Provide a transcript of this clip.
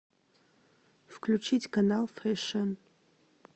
включить канал фэшн